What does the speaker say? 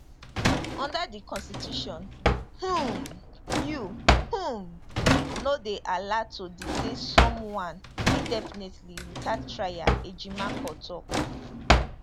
under di constitution um you um no dey allowed to detain someone indefinitely witout trial ejimakor tok